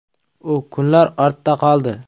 U kunlar ortda qoldi.